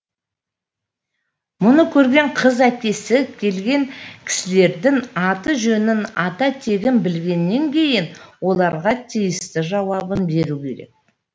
мұны көрген қыз әкесі келген кісілердің аты жөнін ата тегін білгеннен кейін оларға тиісті жауабын беруі керек